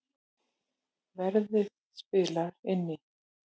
Verðið spilar inn í